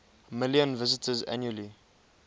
million visitors annually